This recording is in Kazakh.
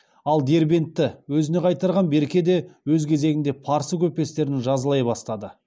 ал дербентті өзіне қайтарған берке де өз кезегінде парсы көпестерін жазалай бастады